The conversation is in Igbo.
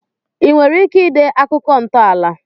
I nwere ike ide akụkọ ntọala